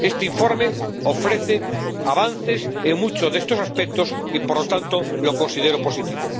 Este informe ofrece avances en muchos de estos aspectos y, por lo tanto, lo considero positivo.